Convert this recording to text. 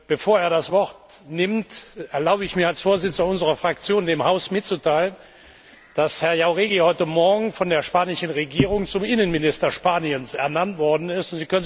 Bevor er das Wort ergreift, erlaube ich mir als Vorsitzender unserer Fraktion, dem Haus mitzuteilen, dass Herr Jáuregui heute Morgen von der spanischen Regierung zum Innenminister Spaniens ernannt worden ist.